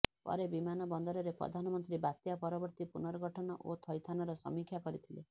ପରେ ବିମାନବନ୍ଦରରେ ପ୍ରଧାନମନ୍ତ୍ରୀ ବାତ୍ୟା ପରବର୍ତୀ ପୁର୍ନଗଠନ ଓ ଥଇଥାନର ସମୀକ୍ଷା କରିଥିଲେ